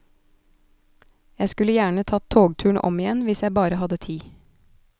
Jeg skulle gjerne tatt togturen om igjen, hvis jeg bare hadde tid.